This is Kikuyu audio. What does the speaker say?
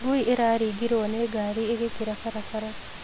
Ngui ĩraringirwo nĩ ngari ĩgĩkĩra barabara.